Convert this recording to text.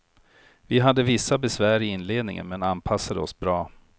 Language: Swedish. Vi hade vissa besvär i inledningen men anpassade oss bra.